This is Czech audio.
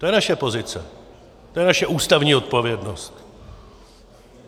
To je naše pozice, to je naše ústavní odpovědnost.